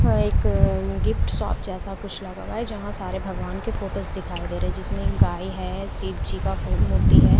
और एक gift shop जैसा कुछ लगा जहां सारे भगवान के फोटोस दिखाई दे रहे जिसमें एक गाए हैं शिव जी का मूर्ति है।